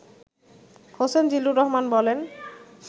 হোসেন জিল্লুর রহমান বলেন